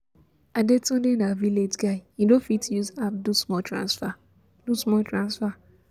Adetunde na village guy, he no fit use app do small transfer do small transfer